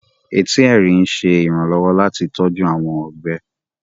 Ẹtì Ẹrín ń ṣe iranlọwọ láti tọju awọn ọgbe